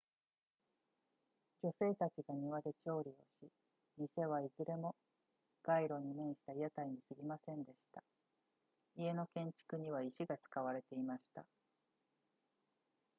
女性たちが庭で調理をし店はいずれも街路に面した屋台に過ぎませんでした家の建築には石が使われていました